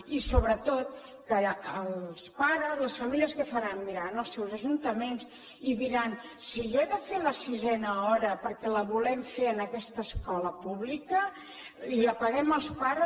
i sobretot que els pares les famílies què faran aniran als seus ajuntaments i diran si jo he de fer la sisena hora perquè la volem fer en aquesta escola pública i la paguem els pares